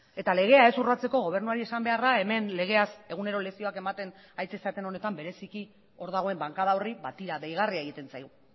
eta legea ez urratzeko gobernuari esan beharra hemen legeaz egunero lezioak haritzen zareten honetan bereiziki hor dagoen bankada horri ba tira deigarria egiten zaigu